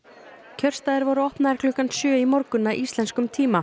kjörstaðir voru opnaðir klukkan sjö í morgun að íslenskum tíma